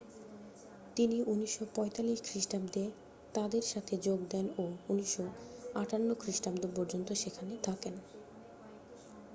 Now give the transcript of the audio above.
তিনি 1945 খ্রিস্টাব্দে তাদের সাথে যোগ দেন ও 1958 খ্রিস্টাব্দ পর্যন্ত সেখানে থাকেন